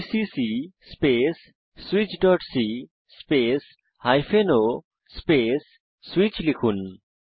GCC space switchসি space o স্পেস switch লিখুন